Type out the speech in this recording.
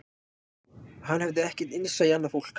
Hann hafði ekkert innsæi í annað fólk